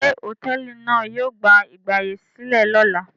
Ṣé hòtẹ́ẹ́lì náà yóò gba ìgbàyèsílẹ̀ lọ́la?